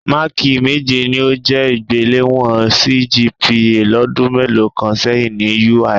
Máákì méje ni ó jẹ́ ìgbéléwọ̀n CGPA lọ́dún mélòó kan sẹ́yìn ni UI